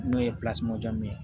N'o ye ye